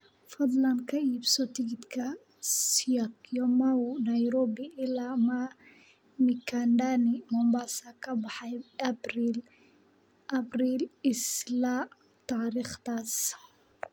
fadlan ka iibso tigidh ka syokimau nairobi ilaa mikindani mombasa ka baxaya abril isla taariikhdaas